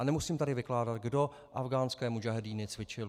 A nemusím tady vykládat, kdo afghánské mudžahedíny cvičil.